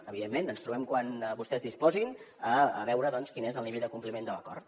evidentment ens trobem quan vostès disposin a veure doncs quin és el nivell de compliment de l’acord